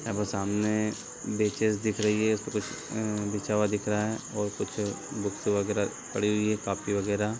अब वो सामने बेंचेज दिख रही है उसपे कुछ ए बिछा हुआ दिख रहा है और कुछ बुक्स वगेरा पड़ी हुई है कॉपी वगेरा।